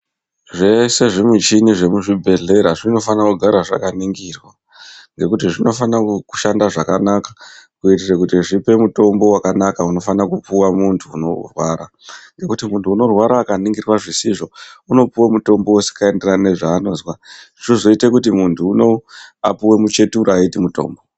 Zveshe zvimichini zvemuzvibhedhlera zvinofanira kugara zvakaningirwa ngekuti zvinofana kushanda zvakanaka kuitire kuti zvipe mutombo wakanaka unofana kupuwa muntu anorwara ngekuti muntu unorwara akaningirwa zvisizvo unopuwa mutombo usikaenderani nezvaanozwa zvozoita kuti muntu unou apuwe muchetura eiti mutombo.